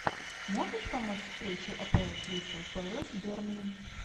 можешь помочь встречу апл кристал пэлас с бернли